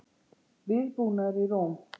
Viðbúnaður í Róm